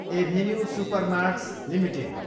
avenue supermarts Ltd